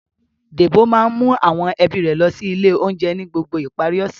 Débò máa ń mú àwọn ẹbí rẹ̀ lọ sí ilé-oúnjẹ ni gbogbo ìparí ọ̀sẹ̀.